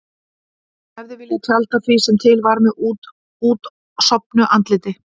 Hún hefði viljað tjalda því sem til var með útsofnu andliti.